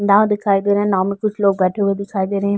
नांव दिखाई दे रहे हैं। नांव में कुछ लोग बैठे हुए दिखाई दे रहे हैं।